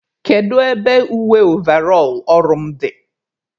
Kedu ebe uwe ovarọl ọrụ m dị?